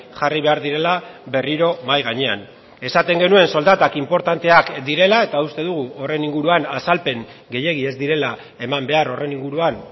jarri behar direla berriro mahai gainean esaten genuen soldatak inportanteak direla eta uste dugu horren inguruan azalpen gehiegi ez direla eman behar horren inguruan